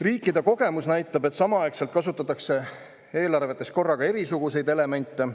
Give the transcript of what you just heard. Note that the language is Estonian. Riikide kogemus näitab, et samaaegselt kasutatakse eelarvetes korraga erisuguseid elemente.